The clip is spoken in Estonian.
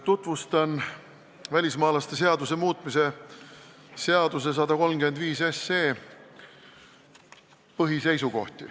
Tutvustan välismaalaste seaduse muutmise seaduse eelnõu 135 põhiseisukohti.